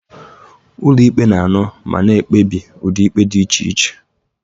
Ụlọ ikpe na-anụ ma na-ekpebi ụdị ikpe dị iche iche.